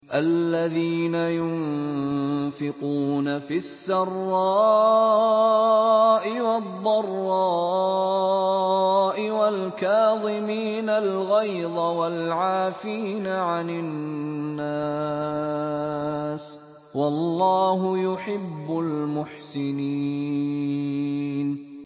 الَّذِينَ يُنفِقُونَ فِي السَّرَّاءِ وَالضَّرَّاءِ وَالْكَاظِمِينَ الْغَيْظَ وَالْعَافِينَ عَنِ النَّاسِ ۗ وَاللَّهُ يُحِبُّ الْمُحْسِنِينَ